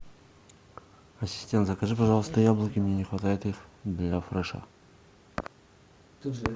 ассистент закажи пожалуйста яблоки мне не хватает их для фреша